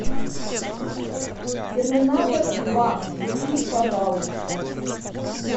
терминатор два включи пожалуйста